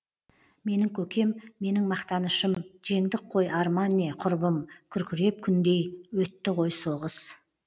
менің көкем менің мақтанышым жеңдік қой арман не құрбым күркіреп күндей өтті ғой соғыс